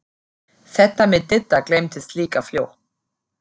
Þetta með Didda gleymdist líka fljótt.